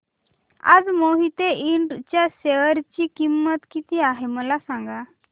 आज मोहिते इंड च्या शेअर ची किंमत किती आहे मला सांगा